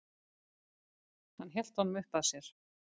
Hann hélt honum uppað sér.